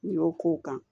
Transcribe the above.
N y'o k'o kan